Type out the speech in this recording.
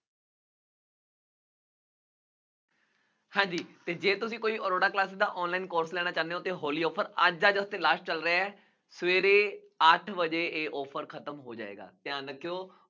ਹਾਂਜੀ, ਜੇ ਤੁਸੀਂ ਕੋਈ ਅਰੋੜਾ classes ਦਾ online course ਲੈਣਾ ਚਾਹੁੰਦੇ ਹੋ ਤਾਂ ਹੋਲੀ offer ਅੱਜ ਅੱਜ ਵਾਸਤੇ last ਚੱਲ ਰਿਹਾ ਸਵੇਰੇ ਅੱਠ ਵਜੇ ਇਹ offer ਖਤਮ ਹੋ ਜਾਏਗਾ, ਧਿਆਨ ਰੱਖਿਉ।